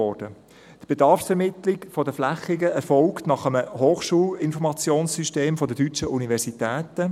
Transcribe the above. Die Bedarfsermittlung der Flächen erfolgt nach einem Hochschulinformationssystem der deutschen Universitäten.